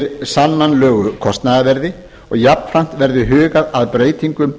undir sannanlegu kostnaðarverði jafnframt verði hugað að breytingum